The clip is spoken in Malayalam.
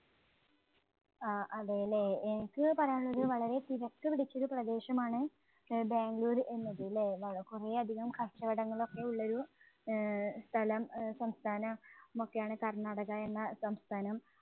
ആ അതെ അല്ലേ? എനിക്ക് പറയാനുള്ളത് വളരെ തിരക്കുപിടിച്ച ഒരു പ്രദേശമാണ് ആഹ് ബാംഗ്ലൂര് എന്നത് ഇല്ലേ? വള കുറെയധികം കച്ചവടങ്ങൾ ഒക്കെ ഉള്ള ഒരു ആഹ് സ്ഥലം, അഹ് സംസ്ഥാന~മൊക്കെയാണ് കർണാടക എന്ന സംസ്ഥാനം.